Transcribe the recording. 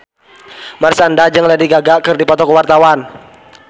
Marshanda jeung Lady Gaga keur dipoto ku wartawan